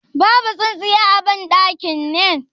Babu tsintsiya a ban ɗakin ne?